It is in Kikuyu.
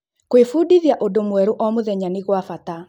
Kũĩfundithĩa ũndũ mweru o mũthenya nĩ gwabata